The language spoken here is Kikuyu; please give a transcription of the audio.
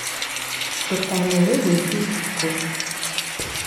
Ndũkanerĩgwiki ũtukũ.